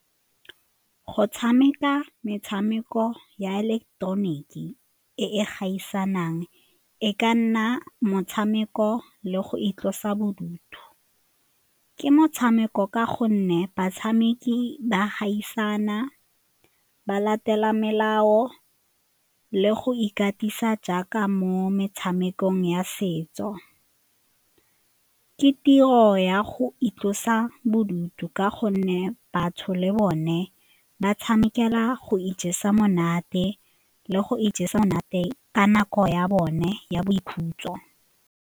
Go tshameka metshameko ya ileketeroniki e e gaisanang e ka nna motshameko le go itlosa bodutu. Ke motshameko ka gonne batshameki ba gaisana, ba latela melao le go ikatisa jaaka mo metshamekong ya setso. Ke tiro ya go itlosa bodutu ka gonne batho le bone ba tshamekela go ijesa monate le go ijesa monate ka nako ya bone ya boikhutso.